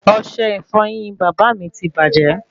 Ọsẹ ìfọyín bàbá mí tí bajẹ